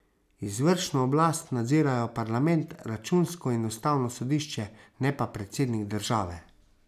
Izvršno oblast nadzirajo parlament, računsko in ustavno sodišče, ne pa predsednik države.